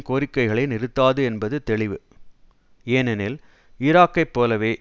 கோரிக்கைகளை நிறுத்தாது என்பது தெளிவு ஏனெனில் ஈராக்கைப் போலவே